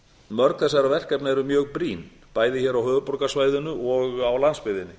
mörg þessara verkefna eru mjög brýn bæði hér á höfuðborgarsvæðinu og á landsbyggðinni